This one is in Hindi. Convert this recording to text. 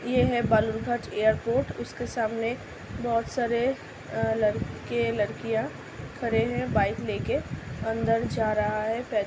ये है बालुरघाट एयरपोर्ट । उसके सामने बहोत सारे आ लडके-लडकियाँ खड़े है बाइक लेके। अंदर जा रहा है। पै --